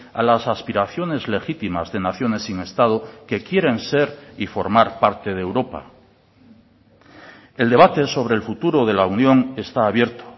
a las aspiraciones legítimas de naciones sin estado que quieren ser y formar parte de europa el debate sobre el futuro de la unión está abierto